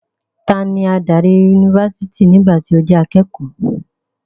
Tani adarí yunifásítì nígbà tí o jẹ́ akékọ̀ọ́?